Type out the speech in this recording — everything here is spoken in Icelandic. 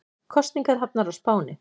Kosningar hafnar á Spáni